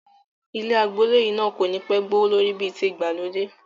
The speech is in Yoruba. Ilẹ̀ àgboole yìí náà kò ní pẹ́ gbé owó lórí bí ti ìgbàlódé